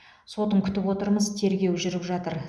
сотын күтіп отырмыз тергеу жүріп жатыр